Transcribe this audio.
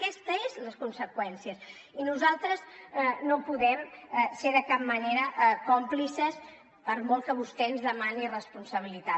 aquestes són les conseqüències i nosaltres no podem ser de cap manera còmplices per molt que vostè ens demani responsabilitat